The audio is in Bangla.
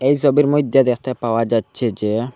এই সবির মইধ্যে মধ্যে দেখতে পাওয়া যাচ্ছে যে--